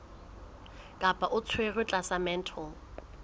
kapa o tshwerwe tlasa mental